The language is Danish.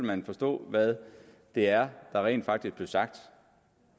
man forstå hvad det er der rent faktisk blev sagt